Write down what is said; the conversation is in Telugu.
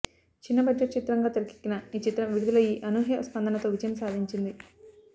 చిన్న బడ్జెట్ చిత్రం గా తెరకెక్కిన ఈ చిత్రం విడుదలయ్యి అనూహ్య స్పందనతో విజయం సాదించింది